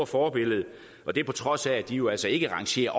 forbillede og det er på trods af at de jo altså ikke rangerer